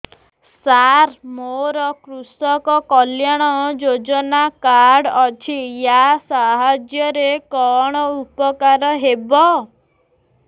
ସାର ମୋର କୃଷକ କଲ୍ୟାଣ ଯୋଜନା କାର୍ଡ ଅଛି ୟା ସାହାଯ୍ୟ ରେ କଣ ଉପକାର ହେବ